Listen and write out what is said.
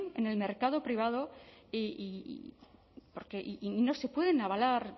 en el mercado privado y no se pueden avalar